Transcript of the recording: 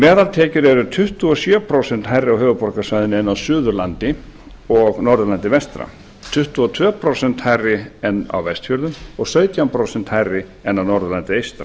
meðaltekjur eru tuttugu og sjö prósent hærri á höfuðborgarsvæðinu en á suðurlandi og norðurlandi vestra tuttugu og tvö prósent hærri en en á vestfjörðum og sautján prósent hærri en á norðurlandi eystra